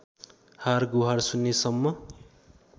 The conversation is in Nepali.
हारगुहार सुन्नेसम्म